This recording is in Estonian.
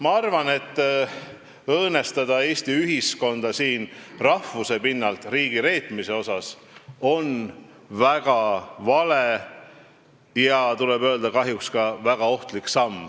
Ma arvan, et õõnestada Eesti ühiskonda rahvuse pinnalt ja siduda seda riigireetmisega on väga vale ja kahjuks tuleb öelda, et ka väga ohtlik samm.